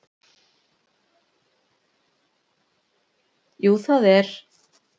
Jú það er